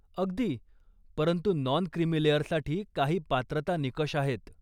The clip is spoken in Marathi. अगदी ! परंतु नॉन क्रिमी लेअरसाठी काही पात्रता निकष आहेत.